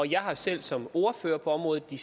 jeg har selv som ordfører på området i